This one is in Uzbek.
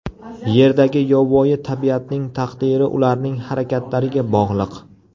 Yerdagi yovvoyi tabiatning taqdiri ularning harakatlariga bog‘liq.